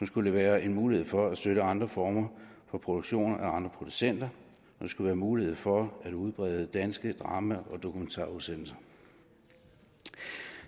skulle være en mulighed for at støtte andre former for produktioner af andre producenter og skulle være mulighed for at udbrede danske drama og dokumentarudsendelser